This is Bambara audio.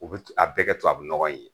U be a bɛɛ kɛ tubabu nɔgɔ ye